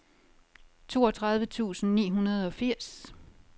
toogtredive tusind ni hundrede og firs